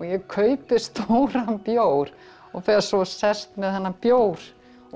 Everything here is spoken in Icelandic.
ég kaupi stóran bjór og fer svo og sest með þennan bjór